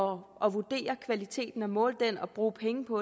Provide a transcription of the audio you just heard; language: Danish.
vurdere kvaliteten måle den og bruge penge på